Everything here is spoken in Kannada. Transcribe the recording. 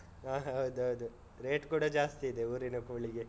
ಹಾ ಹೌದೌದು. rate ಕೂಡ ಜಾಸ್ತಿ ಇದೆ ಊರಿನ ಕೋಳಿಗೆ.